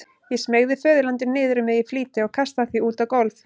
Ég smeygði föðurlandinu niður um mig í flýti og kastaði því út á gólf.